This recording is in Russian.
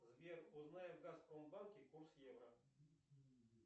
сбер узнай в газпромбанке курс евро